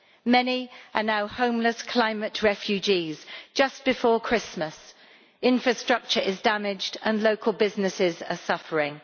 Many are now homeless climate refugees, just before Christmas. Infrastructure is damaged and local businesses are suffering.